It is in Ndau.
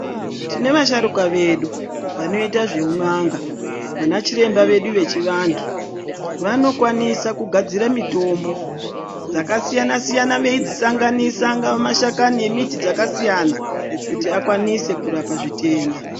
Tine vasharukwa vedu vanoita zveu n'anga vanachiremba vedu vanoita zveu n'anga vanokwanisa kugadzira mutombo dzakakasiya siyana eidzi sangananisa angava mashakani emiti dzakasiyana kuti akwanise kurapa matenda.